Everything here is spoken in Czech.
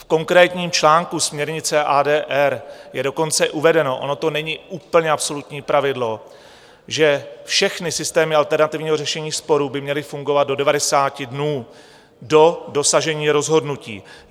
V konkrétním článku směrnice ADR je dokonce uvedeno - ono to není úplně absolutní pravidlo - že všechny systémy alternativního řešení sporů by měly fungovat do 90 dnů do dosažení rozhodnutí.